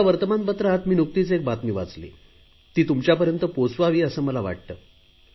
एका वर्तमानपत्रात मी नुकतीच एक बातमी वाचली ती तुमच्यापर्यंत पोहोचावी असे मला वाटते